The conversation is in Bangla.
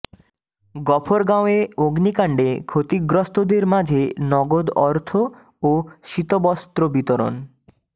গফরগাঁওয়ে অগ্নিকান্ডে ক্ষতিগ্রস্তদের মাঝে নগদ অর্থ ও শীতবস্ত্র বিতরন